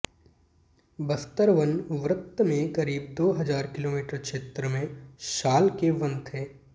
बस्तर वन वृत्त में करीब दो हजार किमी क्षेत्र में साल के वन थे